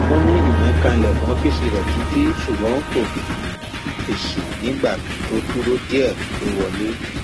um wọn ní ìyẹn kan ilẹkùn ọfíìsì rẹ títí ṣùgbọn kò um fèsì nígbà tó dúró díẹ lọ wọlé